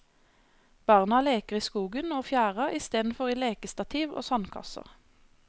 Barna leker i skogen og fjæra istedenfor i lekestativ og sandkasser.